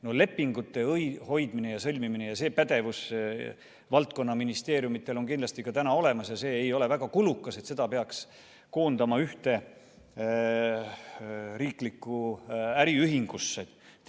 No lepingute hoidmise ja sõlmimise pädevus on valdkonnaministeeriumidel kindlasti ka praegu olemas ja see ei ole väga kulukas töö, et selle peaks tingimata koondama ühte riigi äriühingusse.